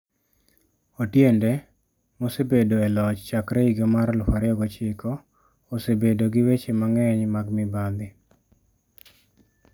Otiende, mosebedo e loch chakre higa mar 2009, osebedo gi weche mang'eny mag mibadhi.